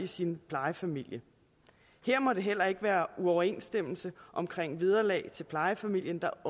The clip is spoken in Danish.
sin plejefamilie her må det heller ikke være uoverensstemmelse omkring vederlag til plejefamilien der